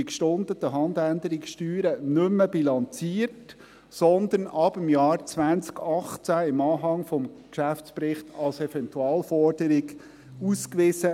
Die gestundeten Handänderungssteuern werden nämlich neu nicht mehr bilanziert, sondern ab dem Jahr 2018 im Anhang des Geschäftsberichts als Eventualforderung ausgewiesen.